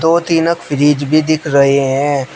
दो तीनक फ्रिज भी दिख रहे हैं।